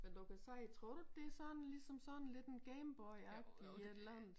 Men du kan se tror du ikke et sådan ligesom som sådan lidt en Gameboy agtig et eller andet